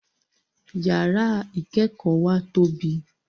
Yàrá ìkẹ́kọ̀ọ́ wa tóbi